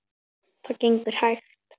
Það gengur hægt.